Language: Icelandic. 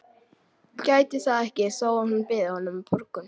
Gæti það ekki þó að hún byði honum borgun.